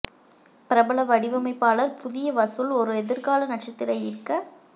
பிரபல வடிவமைப்பாளர்கள் புதிய வசூல் ஒரு எதிர்கால நட்சத்திர ஈர்க்க